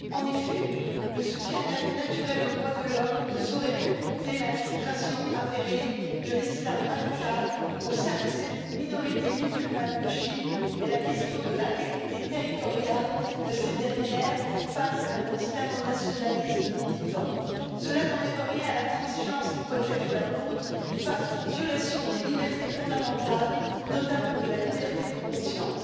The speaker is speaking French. En effet, le soutien naturel aux droits de l'homme ne saurait occulter l'infiltration avérée de l'islam radical au sein de cette minorité musulmane de Chine, ni la question de l'intégrité territoriale de cette dernière face à un islamo nationalisme militant. Cela n'enlève rien à l'intransigeance qui doit être la nôtre face aux violations des libertés fondamentales, notamment de la liberté de conscience.